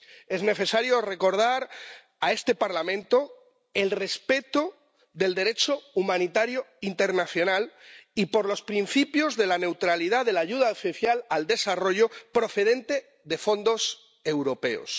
Es necesario recordar a este Parlamento el respeto del Derecho humanitario internacional y los principios de la neutralidad de la ayuda oficial al desarrollo procedente de fondos europeos.